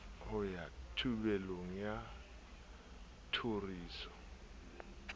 ho ya thupelong ya tjhoriso